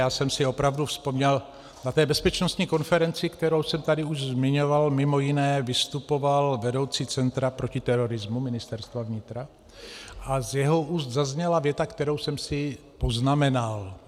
Já jsem si opravdu vzpomněl, na té bezpečnostní konferenci, kterou jsem tady už zmiňoval, mimo jiné vystupoval vedoucí Centra proti terorismu Ministerstva vnitra a z jeho úst zazněla věta, kterou jsem si poznamenal.